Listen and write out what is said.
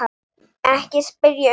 Ekki spyrja um neitt.